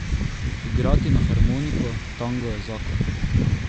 Igrati na harmoniko tango je zakon.